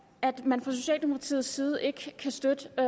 at man fra socialdemokratiets side ikke kan støtte en